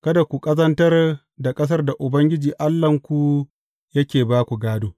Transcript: Kada ku ƙazantar da ƙasar da Ubangiji Allahnku yake ba ku gādo.